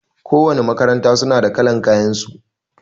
Ko wanna makaranta suna da kalan kayan su